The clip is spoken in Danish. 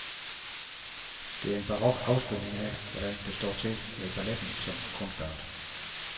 Det er en barok afspejling af, hvordan det står til med balletten som kunstart.